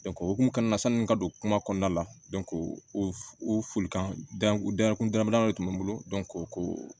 o hokumu kɔnɔna na sanni ka don kuma kɔnɔna la o o folikan dan kun dama dama de tun bɛ n bolo ko